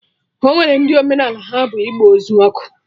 Ọnwere ndị omenaala ha bụ ịgba ozu ọkụ